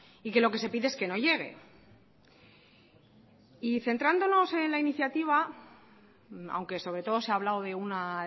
y que lo que se pide es que no llegue y centrándonos en la iniciativa aunque sobre todo se ha hablado de una